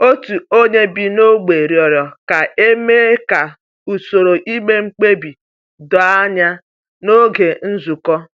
Otu onye bi n’ógbè rịọrọ ka e mee ka usoro ime mkpebi doo anya n’oge nzukọ.